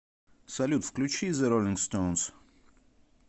салют включи зе роллинг стоунс